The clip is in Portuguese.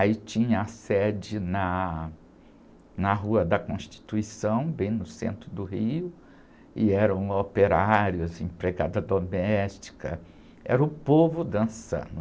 Aí tinha a sede na, na Rua da Constituição, bem no centro do Rio, e eram operários, empregada doméstica, era o povo dançando.